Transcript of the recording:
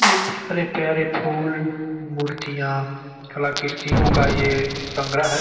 ये प्यारे-प्यारे फूल मुर्तियाँ कलाकृतियों का ये संग्रह --